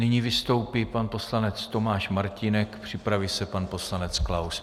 Nyní vystoupí pan poslanec Tomáš Martínek, připraví se pan poslanec Klaus.